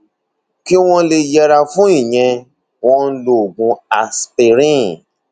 kí wọn lè yẹra fún ìyẹn wọn ń lo oògùn aspirin